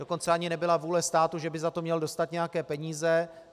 Dokonce ani nebyla vůle státu, že by za to měl dostat nějaké peníze.